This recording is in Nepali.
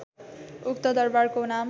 उक्त दरबारको नाम